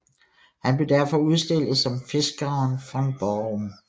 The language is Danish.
Han blev derfor udstillet som Fiskaren från Barum